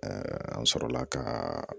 an sɔrɔla ka